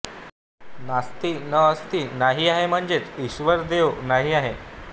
नास्ति न अस्ति नाही आहे म्हणजेच ईश्वरदेव नाही आहे